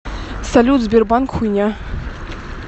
салют сбербанк хуйня